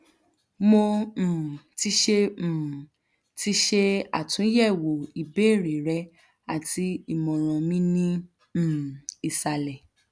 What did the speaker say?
mo um ti ṣe um ti ṣe atunyẹwo ibeere rẹ ati imọran mi ni um isalẹ